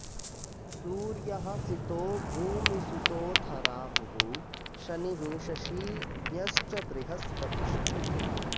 सूर्यः सितो भूमिसुतोऽथ राहुः शनिः शशी ज्ञश्च बृहस्पतिश्च